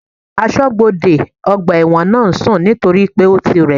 Asọ́bodè ọgbà ẹ̀wọ̀n náà ń sùn nítorípé ó ti rẹ̀